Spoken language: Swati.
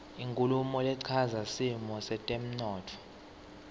inkhulumo lechaza simo setemntfo